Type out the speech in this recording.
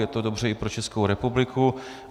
Je to dobře i pro Českou republiku.